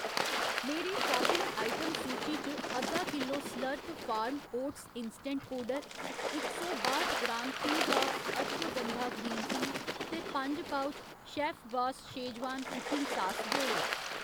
मेरी shopping item सूची च अद्धा किल्लो slurp farm oats instant powder, इक सौ बाठ gram Teabox ashwagandha green tea ते पंज पउच शैफबास शेजवान कुकिंग सास जोड़ो।